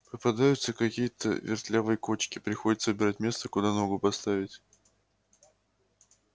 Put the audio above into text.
попадаются какие-то вертлявые кочки приходится выбирать место куда ногу поставить